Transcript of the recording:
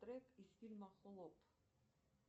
трек из фильма плот